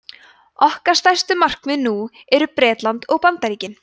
okkar stærstu markaðir nú eru bretland og bandaríkin